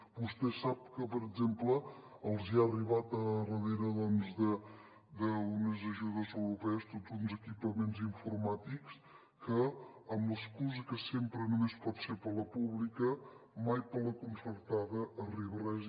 vostè sap que per exemple els han arribat a darrere d’unes ajudes europees tots uns equipaments informàtics que amb l’excusa que sempre només pot ser per a la pública mai per a la concertada arriba res